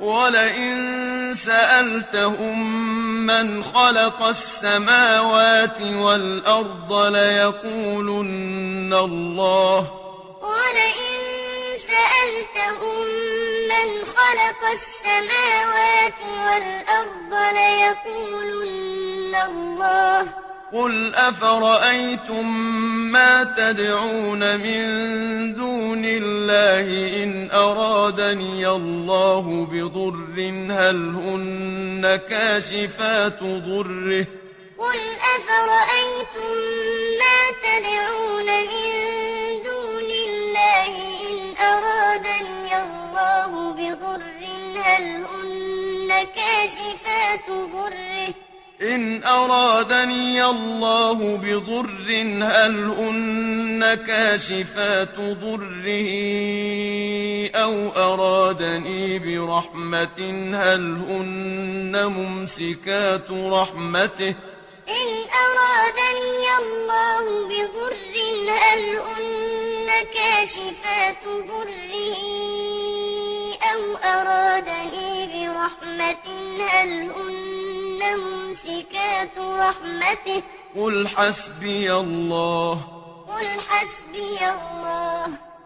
وَلَئِن سَأَلْتَهُم مَّنْ خَلَقَ السَّمَاوَاتِ وَالْأَرْضَ لَيَقُولُنَّ اللَّهُ ۚ قُلْ أَفَرَأَيْتُم مَّا تَدْعُونَ مِن دُونِ اللَّهِ إِنْ أَرَادَنِيَ اللَّهُ بِضُرٍّ هَلْ هُنَّ كَاشِفَاتُ ضُرِّهِ أَوْ أَرَادَنِي بِرَحْمَةٍ هَلْ هُنَّ مُمْسِكَاتُ رَحْمَتِهِ ۚ قُلْ حَسْبِيَ اللَّهُ ۖ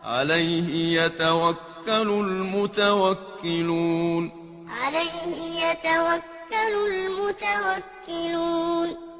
عَلَيْهِ يَتَوَكَّلُ الْمُتَوَكِّلُونَ وَلَئِن سَأَلْتَهُم مَّنْ خَلَقَ السَّمَاوَاتِ وَالْأَرْضَ لَيَقُولُنَّ اللَّهُ ۚ قُلْ أَفَرَأَيْتُم مَّا تَدْعُونَ مِن دُونِ اللَّهِ إِنْ أَرَادَنِيَ اللَّهُ بِضُرٍّ هَلْ هُنَّ كَاشِفَاتُ ضُرِّهِ أَوْ أَرَادَنِي بِرَحْمَةٍ هَلْ هُنَّ مُمْسِكَاتُ رَحْمَتِهِ ۚ قُلْ حَسْبِيَ اللَّهُ ۖ عَلَيْهِ يَتَوَكَّلُ الْمُتَوَكِّلُونَ